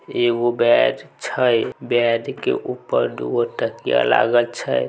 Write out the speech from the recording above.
एगो बेड छै बेड के ऊपर दू गो तकिया लागल छै।